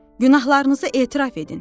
Günahlarınızı etiraf edin.